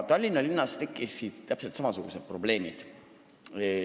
Tallinna linnas tekkisid täpselt samasugused probleemid.